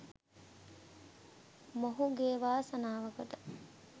මොහුගේ වාසනාවකට